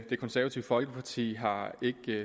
det konservative folkeparti har